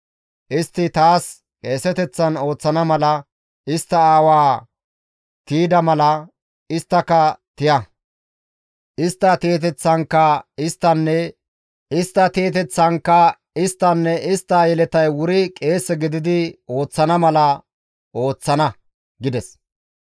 Istti taas qeeseteththan ooththana mala, istta aawaa tiyda mala, isttaka tiya. Istta tiyeteththankka isttanne istta yeletay wuri qeese gididi ooththana mala ta ooththana» gides.